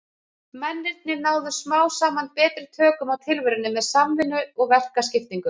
Mennirnir náðu smám saman betri tökum á tilverunni með samvinnu og verkaskiptingu.